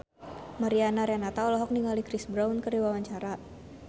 Mariana Renata olohok ningali Chris Brown keur diwawancara